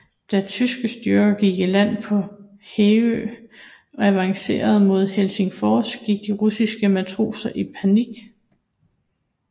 Da tyske styrker gik i land på Hangö og avancerede mod Helsingfors gik de russiske matroser i panik